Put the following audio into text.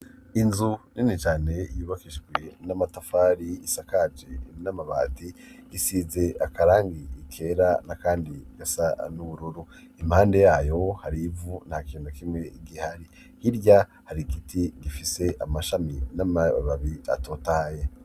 inzu nini cane yubakishwe n'amatafari, isakaje n'amabati, isize akarangi kera, n'akandi gasa n'ubururu. impande yayo hari ivu, nta kintu na kimwe gihari. hirya hari igiti gifise amashami n'amababi atotahaye.